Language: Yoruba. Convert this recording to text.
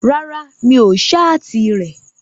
Rárá, mi ò ṣáàtì rẹ̀